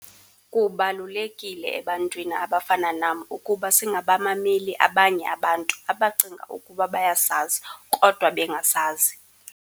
"Kubalulekile ebantwini abafana nam ukuba singabamameli abanye abantu abacinga ukuba bayasazi kodwa bengasazi."